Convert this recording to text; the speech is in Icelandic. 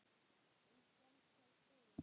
En stenst það skoðun?